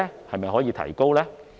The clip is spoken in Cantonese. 是否可以提升呢？